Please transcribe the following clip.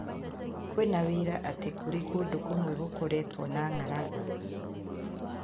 Kwĩna wiira atĩ kũrĩ kũndũ kũmwe gũkoretwo na ng'aragu.